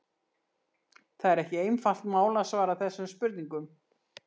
Það er ekki einfalt mál að svara þessum spurningum.